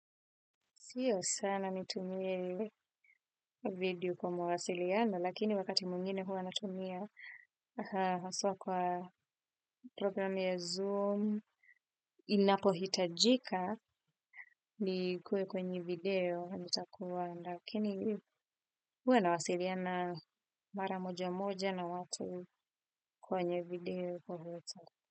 Sio sana nitumie video kwa mawasiliano, lakini wakati mwingine huwa natumia aswa kwa program ya Zoom, inapohitajika nikue kwenye video nitakuwa, lakini huwa nawasiliana mara moja moja na watu kwenye video kwa huweta.